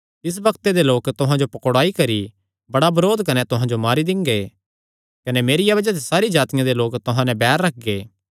तिस बग्त दे लोक तुहां जो पकड़ुआई करी बड़ा बरोध कने तुहां जो मारी दिंगे कने मेरिया बज़ाह ते सारी जातिआं दे लोक तुहां नैं बैर रखगे